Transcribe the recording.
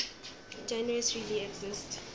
genres really exist